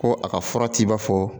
Ko a ka fura t'i ba fɔ